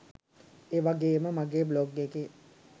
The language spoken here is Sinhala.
ඒවගේම මගේ බ්ලොග් එකේ